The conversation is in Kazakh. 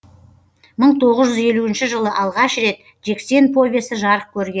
мың тоғыз жүз елуінші жылы алғаш рет жексен повесі жарық көрге